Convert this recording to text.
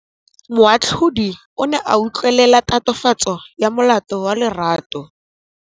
Moatlhodi o ne a utlwelela tatofatsô ya molato wa Lerato.